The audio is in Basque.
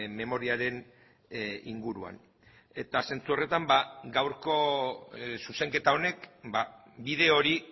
memoriaren inguruan eta zentzu horretan gaurko zuzenketa honek bide hori